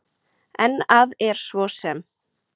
En að er svo sem